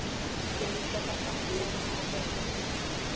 Þér líkar þetta allt saman ágætlega.